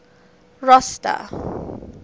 rosta